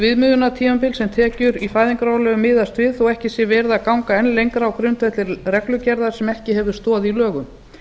viðmiðunartímabil sem tekjur í fæðingarorlofi miðast við þó ekki sé verið að ganga enn lengra á grundvelli reglugerðar sem ekki hefur stoð í lögum